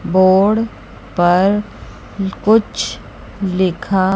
board पर कुछ लिखा--